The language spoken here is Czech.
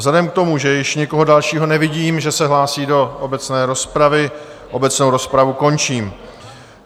Vzhledem k tomu, že již nikoho dalšího nevidím, že se hlásí do obecné rozpravy, obecnou rozpravu končím.